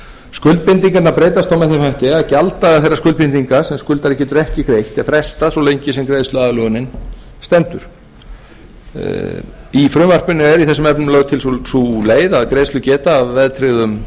með þeim hætti að gjalddagar þeirrar skuldbindingar sem skuldari getur ekki greitt er frestað svo lengi sem greiðsluaðlögunin stendur í frumvarpinu er í þessum efnum lögð til sú leið að